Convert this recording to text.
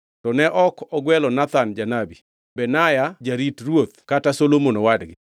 to ne ok ogwelo Nathan janabi, Benaya jarit ruoth kata Solomon owadgi.